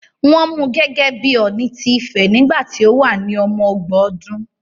Wọ́n mú gẹ́gẹ́ bí Ọ̀ọ̀ni ti Ifẹ̀ nígbà tí ó wà ní ọmọ ọgbọ̀n ọdún